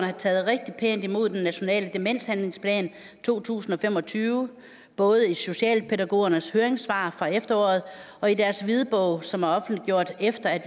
har taget rigtig pænt imod den nationale demenshandlingsplan to tusind og fem og tyve både i socialpædagogernes høringssvar fra efteråret og i deres hvidbog som er offentliggjort efter at